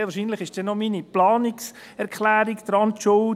Sehr wahrscheinlich ist dann auch noch meine Planungserklärung Schuld daran.